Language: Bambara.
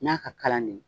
N y'a ka kalan de